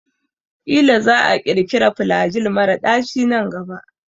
Ƙila za a ƙirkira flajil mara daci nan gaba.